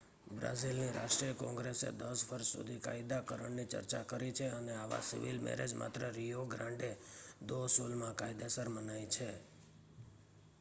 બ્રાઝિલની રાષ્ટ્રીય કૉંગ્રેસે 10 વર્ષ સુધી કાયદાકરણની ચર્ચા કરી છે અને આવાં સિવિલ મૅરેજ માત્ર રિયો ગ્રાન્ડે દો સુલમાં કાયદેસર મનાય છે